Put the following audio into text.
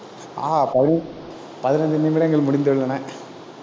ஆஹ் பதி~ பதினைந்து நிமிடங்கள் முடிந்துள்ளன.